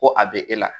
Ko a bɛ e la